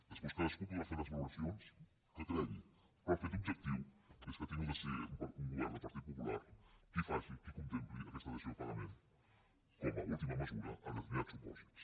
des·prés cadascú podrà fer les valoracions que cregui però el fet objectiu és que ha hagut de ser un govern del partit popular qui faci qui contempli aquesta dació en paga·ment com a última mesura en determinats supòsits